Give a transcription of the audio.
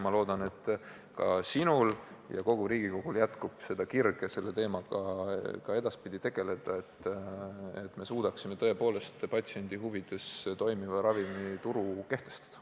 Ma loodan, et ka sinul ja kogu Riigikogul jätkub kirge selle teemaga ka edaspidi tegeleda, et me suudaksime tõepoolest patsiendi huvides toimiva ravimituru kehtestada.